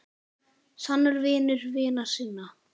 Sannur vinur vina sinna.